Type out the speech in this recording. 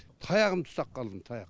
таяғымды ұстап қалдым таяқ